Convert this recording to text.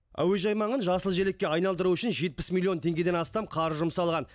әуежай маңын жасыл желекке айналдыру үшін жетпіс миллион теңгеден астам қаржы жұмсалған